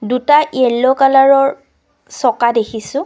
দুটা য়েল্লো কালাৰৰ চকা দেখিছোঁ।